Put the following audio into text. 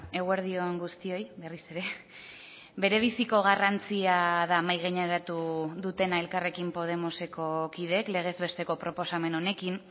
eguerdi on guztioi berriz ere berebiziko garrantzia da mahai gaineratu dutena elkarrekin podemoseko kideek legez besteko proposamen honekin